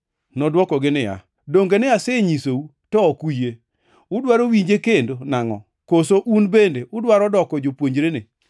Nodwokogi niya, “Donge ne asenyisou, to ok uyie. Udwaro winje kendo nangʼo? Koso un bende udwaro doko jopuonjrene?”